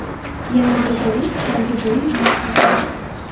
Yana bir bo‘lak so‘nggi bo‘yin umurtqasida.